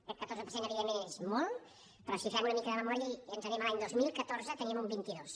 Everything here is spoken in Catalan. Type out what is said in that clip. aquest catorze per cent evidentment és molt però si fem una mica de memòria i ens n’anem a l’any dos mil catorze en teníem un vint dos